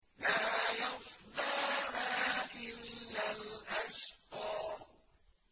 لَا يَصْلَاهَا إِلَّا الْأَشْقَى